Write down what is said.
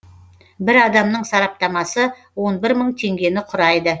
бір адамның сараптамасы он бір мың теңгені құрайды